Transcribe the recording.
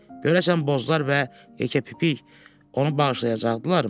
Görəsən Bozlar və yekəpipik onu bağışlayacaqdılarmı?